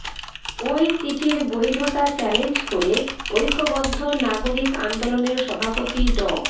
ওই চিঠির বৈধতা চ্যালেঞ্জ করে ঐক্যবদ্ধ নাগরিক আন্দোলনের সভাপতি ড